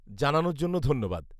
-জানানোর জন্য ধন্যবাদ।